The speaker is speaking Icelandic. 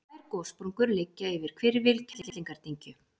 tvær gossprungur liggja yfir hvirfil kerlingardyngju